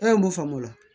E ye mun faamu o la